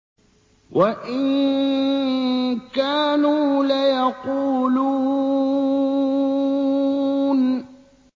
وَإِن كَانُوا لَيَقُولُونَ